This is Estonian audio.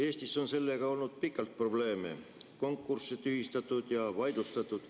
Eestis on sellega olnud pikalt probleeme, on konkursse tühistatud ja vaidlustatud.